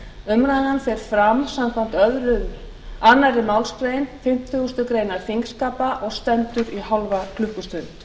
umræðan fer fram samkvæmt annarri málsgrein fimmtugustu grein þingskapa og stendur í hálfa klukkustund